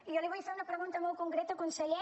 i jo li vull fer una pregunta molt concreta conseller